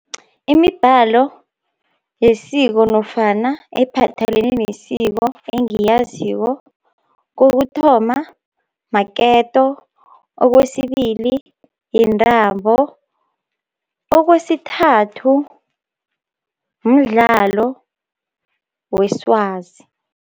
Imibhalo yesiko nofana ephathelene nesiko engiyaziko, kokuthoma maketo, okwesibili yintambo, okwesithathu mdlalo weswazi.